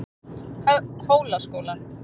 Hólaskóla